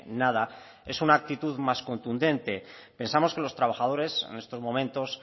nada es una actitud más contundente pensamos que los trabajadores en estos momentos